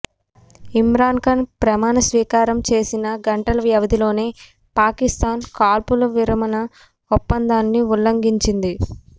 ఇమ్రాన్ ఖాన్ ప్రమాణస్వీకారం చేసిన గంటల వ్యవధిలోనే పాకిస్థాన్ కాల్పుల విరమణ ఒప్పందాన్ని ఉల్లంఘించింది